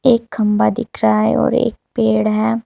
एक खंभा दिख रहा है और एक पेड़ है।